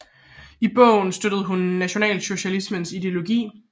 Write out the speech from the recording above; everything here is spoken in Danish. I bogen støttede hun nationalsocialismens ideologi